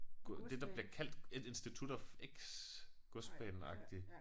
Det der bliver kaldt et institut of X Godsbanen agtigt